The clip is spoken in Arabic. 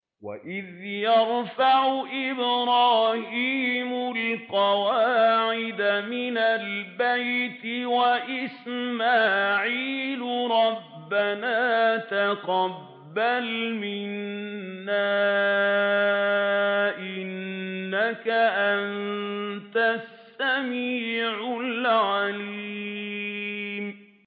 وَإِذْ يَرْفَعُ إِبْرَاهِيمُ الْقَوَاعِدَ مِنَ الْبَيْتِ وَإِسْمَاعِيلُ رَبَّنَا تَقَبَّلْ مِنَّا ۖ إِنَّكَ أَنتَ السَّمِيعُ الْعَلِيمُ